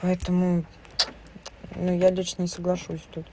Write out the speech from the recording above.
поэтому ну я дочь не соглашусь тут